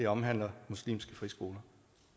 omhandler muslimske friskoler